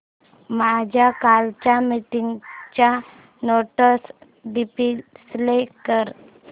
माझ्या कालच्या मीटिंगच्या नोट्स डिस्प्ले कर